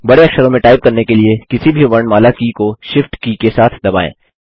बड़े अक्षरों में टाइप करने के लिए किसी भी वर्णमाला की को Shift की के साथ दबाएँ